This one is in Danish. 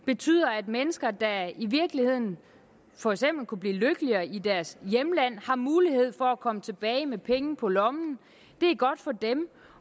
betyder at mennesker der i virkeligheden for eksempel kunne blive lykkeligere i deres hjemland har mulighed for at komme tilbage med penge på lommen det er godt for dem